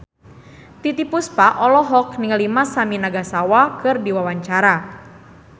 Titiek Puspa olohok ningali Masami Nagasawa keur diwawancara